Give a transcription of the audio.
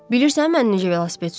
Bilirsən mən necə velosiped sürürəm?